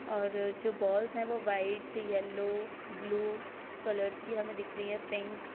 और जो बॉल्स हैवो वाईट येलो ब्लू कलर्स की हमे दिख रही है पिंक --